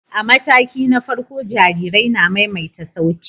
A mataki na farko, jarirai na maimaita sauti.